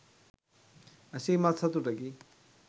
ඇසීමත් සතුටකි.